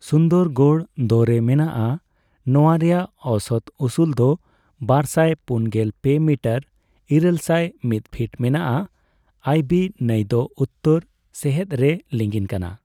ᱥᱩᱱᱫᱚᱨᱜᱚᱰ ᱫᱚ.ᱨᱮ ᱢᱮᱱᱟᱜᱼᱟ ᱾ ᱱᱚᱣᱟ ᱨᱮᱭᱟᱜ ᱚᱣᱥᱚᱛ ᱩᱥᱩᱞ ᱫᱚ ᱵᱟᱨᱥᱟᱭ ᱯᱩᱱᱜᱮᱞ ᱯᱮ ᱢᱤᱴᱚᱨ ᱤᱨᱟᱹᱞ ᱥᱟᱭ ᱢᱤ ᱯᱷᱤᱴ ᱢᱮᱱᱟᱜᱼᱟ ᱾ ᱟᱹᱵᱤ ᱱᱟᱹᱭ ᱫᱚ ᱩᱛᱚᱨ ᱥᱮᱦᱮᱫ ᱨᱮ ᱞᱤᱸᱜᱤᱱ ᱠᱟᱱᱟ ᱾